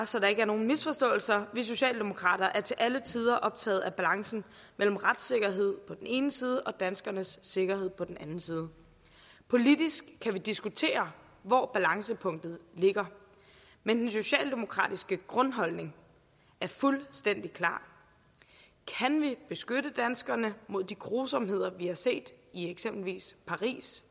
så der ikke er nogen misforståelser vi socialdemokrater er til alle tider optaget af balancen mellem retssikkerhed på den ene side og danskernes sikkerhed på den anden side politisk kan vi diskutere hvor balancepunktet ligger men den socialdemokratiske grundholdning er fuldstændig klar kan vi beskytte danskerne mod de grusomheder vi har set i eksempelvis paris